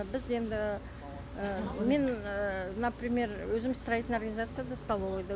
біз енді мен например өзім строительный организацияда столовыйда